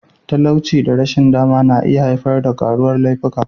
Talauci da rashin dama na iya haifar da karuwar laifuka.